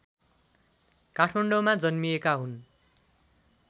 काठमाडौँमा जन्मिएका हुन्